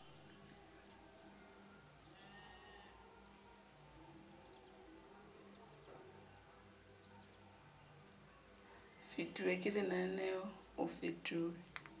fetuwe ke lenaneo o fetuwe